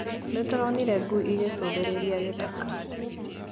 Nĩtũronire ngui ĩgĩcũthĩrĩria gĩthaka